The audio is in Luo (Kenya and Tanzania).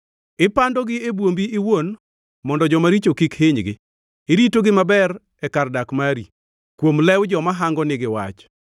Ipandogi e bwombi iwuon mondo joma richo kik hinygi; iritogi maber e kar dak mari kuom lew joma hangonigi wach.